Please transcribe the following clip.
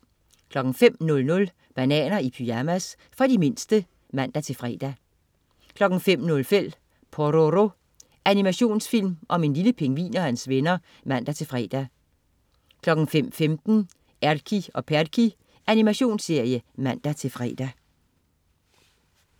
05.00 Bananer i pyjamas. For de mindste (man-fre) 05.05 Pororo. Animationsfilm om en lille pingvin og hans venner (man-fre) 05.15 Erky og Perky. Animationsserie (man-fre)